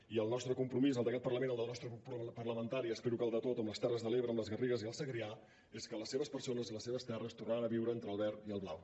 i el nostre compromís el d’aquest parlament el del nostre grup parlamentari i espero que el de tots amb les terres de l’ebre amb les garrigues i el segrià és que les seves persones i les seves terres tornaran a viure entre el verd i el blau